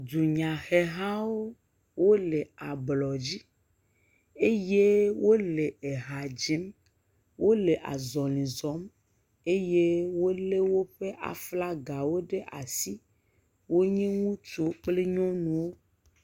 Dunyahehawo wole ablɔdzi eye wole eha dzim, wole azɔ̃li zɔm eye wolé woƒe aflagawo ɖe asi. Wonye ŋutsuwo kple nyɔnuwo.